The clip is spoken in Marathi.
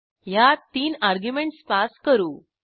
ह्यात तीन अर्ग्युमेंटस पास करू